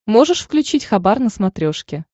можешь включить хабар на смотрешке